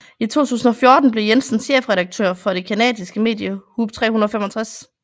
I 2014 blev Jensen chefredaktør for det canadiske medie Hoop365